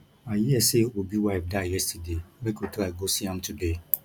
i hear say obi wife die yesterday make we try go see am today